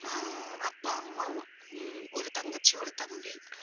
அஹ் அப்பா, அம்மா உம் ஒரு தங்கச்சி, ஒரு தம்பி